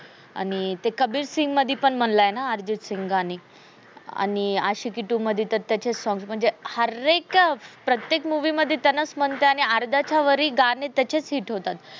आणि ते कबीर सिंग मधी पण म्हणलं आहे ना, अर्जित सिंग गाणे आणि आशिकी two मधी तर सग हर एक का प्रतेक movie मध्ये त्यांनच मनते आणि अर्ध्याच्यावरी गाणे त्याचेच hit होतात.